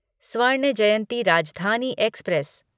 स्वर्ण जयंती राजधानी एक्सप्रेस